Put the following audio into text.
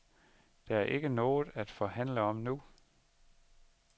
Der er ikke noget at forhandle om nu.